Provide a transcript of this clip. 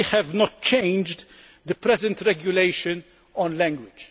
We have not changed the present regulation on language.